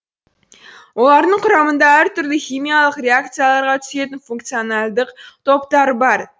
олардың құрамында әртүрлі химиялық реакцияларға түсетін функционалдық топтары бар